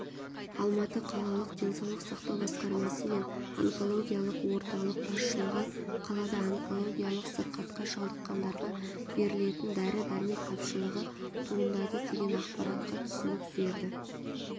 алматы қалалық денсаулық сақтау басқармасы мен онкологиялық орталық басшылығы қалада онкологиялық сырқатқа шалдыққандарға берілетін дәрі-дәрмек тапшылығы туындады деген ақпаратқа түсінік берді